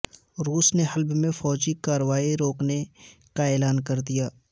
روس نے حلب میں فوجی کاروائی روکنے کا اعلان کر دیا